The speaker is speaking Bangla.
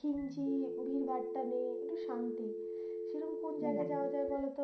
ঘিন্জি ভীরভাট্টা নেই একটু শান্তি সেরকম কোন জায়গায় যাওয়া যায় বলতো